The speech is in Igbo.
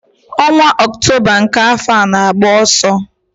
Ọnwa Ọktoba nke afọ a na-agba ọsọ.